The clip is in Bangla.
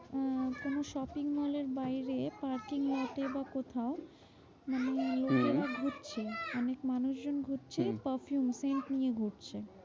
আহ কোনো shopping mall এর বাইরে parking slot এ বা কোথাও মানে নিজেরা হম খুঁড়ছে অনেক মানুষজন ঘুরছে হম perfume scent নিয়ে ঘুরছে।